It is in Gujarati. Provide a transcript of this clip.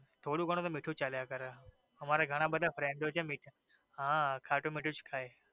થોડું ઘણું તો મીઠું હાલ્યા કરે અમારે ઘણા બધા friend છે હ ખાટું મીઠું જ ખાઈ